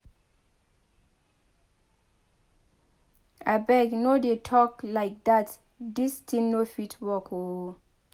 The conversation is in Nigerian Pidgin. Abeg no dey talk like dat dis thing no fit work oo